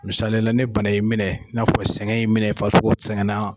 Misaliyala ne bana in minɛ, n'a fɔ sɛgɛn in minɛ , farisoko sɛgɛnna.